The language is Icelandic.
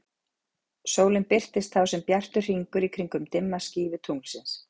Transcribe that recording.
sólin birtist þá sem bjartur hringur í kringum dimma skífu tunglsins